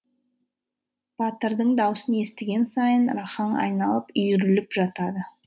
батырдың даусын естіген сайын рахаң айналып үйіріліп жатады